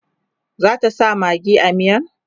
zata sa maggi a miyan?